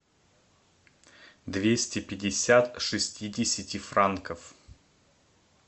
двести пятьдесят шестидесяти франков